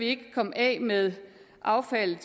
ikke kan komme af med affaldet